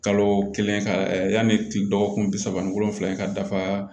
Kalo kelen ka yanni kile dɔgɔkun bi saba ni wolonvila in ka dafa